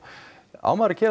á maður að gera